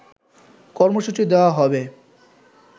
কর্মসূচি দেওয়া হবে